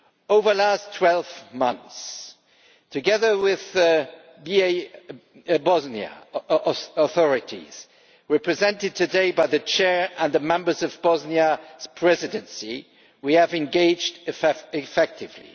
Over the last 12 months, together with the Bosnian authorities, represented today by the Chair and the members of Bosnia's Presidency, we have engaged effectively.